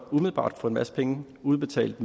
umiddelbart at få en masse penge udbetalt